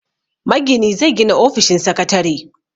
Magini zai gina ofishin sakatare.